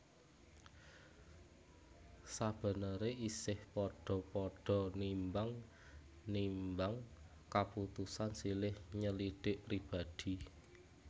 Sabeneré isih padha padha nimbang nimbang kaputusan silih nyelidhik pribadi